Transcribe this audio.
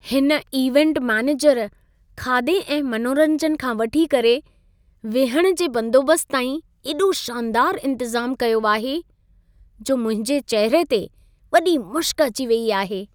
हिन event manager खाधे ऐं मनोरंजन खां वठी करे विहण जे बंदोबस्त ताईं एॾो शानदार इंतज़ाम कयो आहे, जो मुंहिंजे चहिरे ते वॾी मुशिक अची वई आहे।